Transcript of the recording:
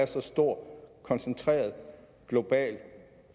så stor koncentreret og global